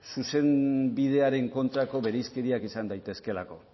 zuzenbidearen kontrako bereizkeriak izan daitezkeelako